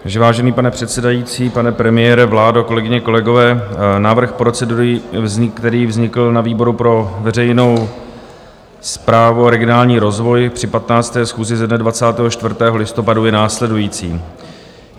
Vážený pane předsedající, pane premiére, vládo, kolegyně, kolegové, návrh procedury, který vznikl na výboru pro veřejnou správu a regionální rozvoj na 15. schůzi ze dne 24. listopadu, je následující.